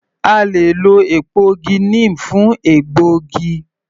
A le è lọ èpo igi neem fún ògbógi